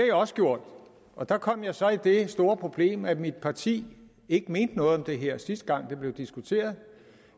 jeg også gjort og der kom jeg så i det store problem at mit parti ikke mente noget om det her sidste gang det blev diskuteret